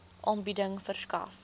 aanbieding verskaf